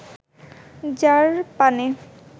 যাঁর পানে